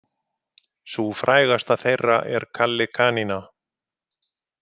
Sú frægasta þeirra er Kalli kanína.